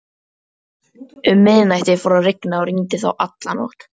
Um miðnætti fór að rigna, og rigndi þá nótt alla.